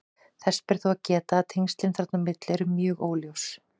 Þess ber þó að geta að tengslin þarna á milli eru mjög óljós.